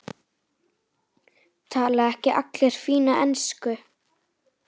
Tala ekki allir fína ensku?